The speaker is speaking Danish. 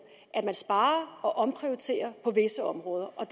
at man sparer og omprioriterer på visse områder og